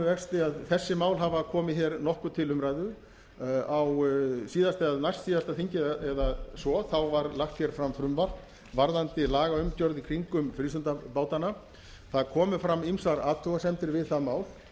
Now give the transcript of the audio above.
vexti að þessi mál hafa komið hér nokkuð til umræðu á síðasta eða næstsíðasta þingi eða svo var lagt hér fram frumvarp varðandi lagaumgjörð í kringum frístundabátana það komu fram ýmsar athugasemdir við það mál